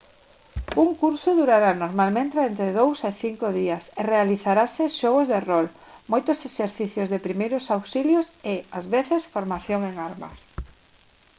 un curso durará normalmente entre 2 e 5 días e realizaranse xogos de rol moitos exercicios de primeiros auxilios e ás veces formación en armas